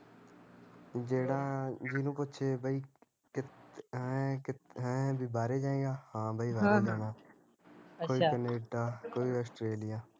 ਜਿਹੜਾ, ਜਿਹਨੂੰ ਪੁੱਛੇ ਬਾਈ ਕਿ ਕਿੱਥੇ ਹੈਂ ਬਾਹਰੇ ਜਾਏਗਾ, ਹਾਂ ਬਾਈ ਬਾਹਰੇ ਜਾਣਾ ਹਮ ਕੋਈ ਕਨੇਡਾ ਕੋਈ ਔਸਟ੍ਰੇਲਿਆ